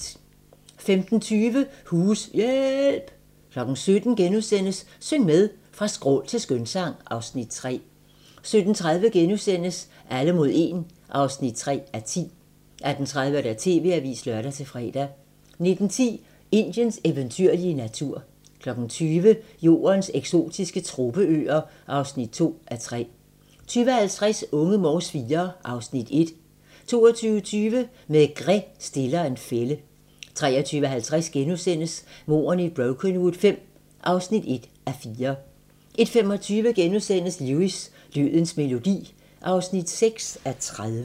15:20: Hus-hjææælp! 17:00: Syng med! Fra skrål til skønsang (Afs. 3)* 17:30: Alle mod 1 (3:10)* 18:30: TV-avisen (lør-fre) 19:10: Indiens eventyrlige natur 20:00: Jordens eksotiske tropeøer (2:3) 20:50: Unge Morse IV (Afs. 1) 22:20: Maigret stiller en fælde 23:50: Mordene i Brokenwood V (1:4)* 01:25: Lewis: Dødens melodi (6:30)*